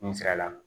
N fɛla la